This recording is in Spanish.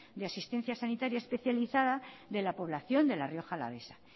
de asistencia sanitaria especializada de la población de la rioja alavesa